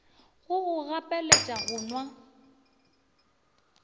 go go gapeletša go nwa